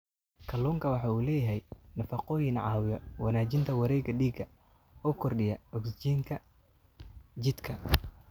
Kalluunku waxa uu leeyahay nafaqooyin caawiya wanaajinta wareegga dhiigga oo kordhiya ogsijiinta jidhka.